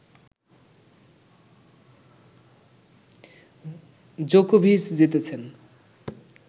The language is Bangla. জোকোভিচ জিতেছেন